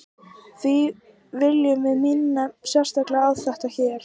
því viljum við minna sérstaklega á þetta hér